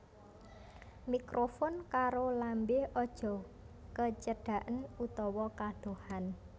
Mikrofon karo lambé aja kecedaken utawa kadohan